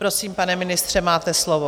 Prosím, pane ministře, máte slovo.